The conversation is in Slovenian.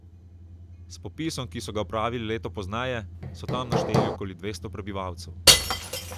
S popisom, ki so ga opravili leto pozneje, so tam našteli okoli dvesto prebivalcev.